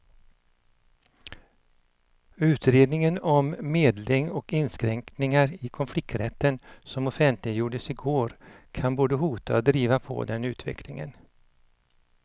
Utredningen om medling och inskränkningar i konflikträtten som offentliggjordes i går kan både hota och driva på den utvecklingen.